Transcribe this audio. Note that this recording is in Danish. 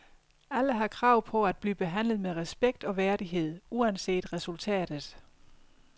Alle har krav på, at blive behandlet med respekt og værdighed uanset resultatet.